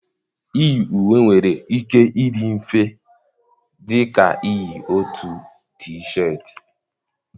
Iyi uwe nwere ike ịdị mfe dị ka iyi otu t-shirt.